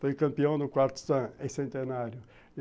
Foi campeão no quarto centenário.